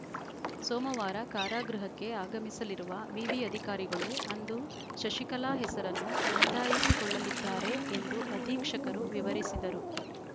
ಸೋಮವಾರ ಕಾರಾಗೃಹಕ್ಕೆ ಆಗಮಿಸಲಿರುವ ವಿವಿ ಅಧಿಕಾರಿಗಳು ಅಂದು ಶಶಿಕಲಾ ಹೆಸರನ್ನು ನೋಂದಾಯಿಸಿಕೊಳ್ಳಲಿದ್ದಾರೆ ಎಂದು ಅಧೀಕ್ಷಕರು ವಿವರಿಸಿದರು